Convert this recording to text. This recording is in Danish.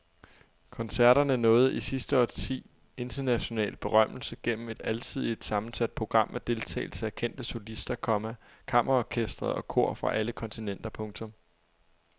Koncerterne nåede i sidste årti international berømmelse gennem et alsidigt sammensat program med deltagelse af kendte solister, komma kammerorkestre og kor fra alle kontinenter. punktum